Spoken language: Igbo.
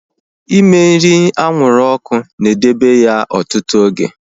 Ime nri anwụrụ ọkụ na edebe ya ọtụtụ oge